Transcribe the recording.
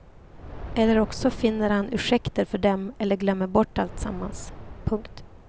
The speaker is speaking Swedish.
Eller också finner han ursäkter för dem eller glömmer bort alltsammans. punkt